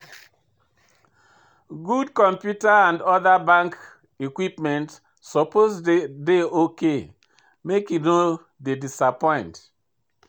Good computer and other bank equipment suppose dey ok, make e no dey disappoint.